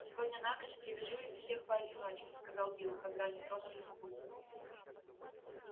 сегодня на ночь привяжу их всех поодиночке сказал билл когда они тронулись в путь